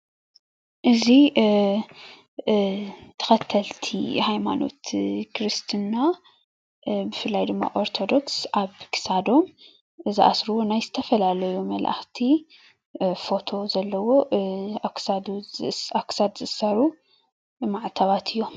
እዚ ተከተልቲ ሃይማኖት ክርስትና ብፍላይ ድማ ኦርቶዶክስ ኣብ ክሳዶም ዝኣስርዎ ናይ ዝተፈላለሰዩ መላእክቲ ፎቶ ዘለዎ ኣብ ክሳድ ዝእሰሩ ማዕተባት እዮም፡፡